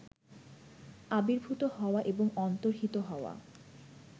আবির্ভূত হওয়া এবং অন্তর্হিত হওয়া